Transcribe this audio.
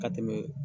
Ka tɛmɛ